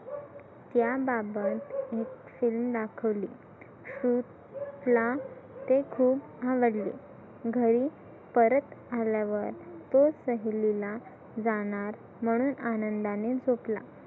त्याबाबत एक फिल्म दाखवली सुर ला ते खुप आवडले घरी परत आल्यावर तो सहलीला जानार सहलीला जाणार म्हणून आनंदाने झोपला.